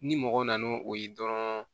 Ni mɔgɔ nana n'o ye dɔrɔn